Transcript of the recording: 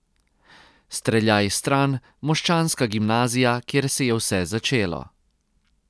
Streljaj stran moščanska gimnazija, kjer se je vse začelo.